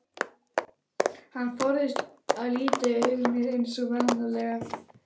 Hann forðaðist að líta í augu mér eins og venjulega.